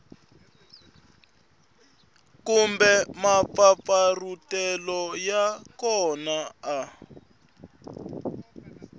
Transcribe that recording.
kumbe mampfampfarhutelo ya kona a